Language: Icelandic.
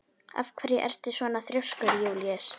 Af hverju ertu svona þrjóskur, Júlíus?